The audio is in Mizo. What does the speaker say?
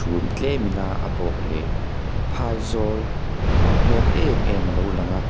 chhum tlemin a a bawh leh phai zawl nawm hmel em em a lo lang a.